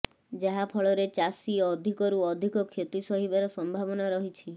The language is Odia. ଯାହା ଫଳରେ ଚାଷୀ ଅଧିକରୁ ଅଧିକ କ୍ଷତି ସହିବାର ସମ୍ଭାବନା ରହିଛି